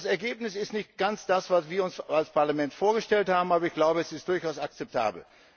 Das Ergebnis ist nicht ganz das, was wir uns als Parlament vorgestellt haben, aber es ist durchaus akzeptabel.